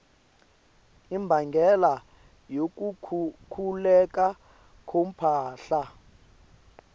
imbangela yokukhukhuleka komhlaba